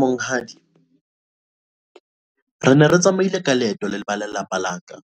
Monghadi, re ne re tsamaile ka leeto leba lelapa la ka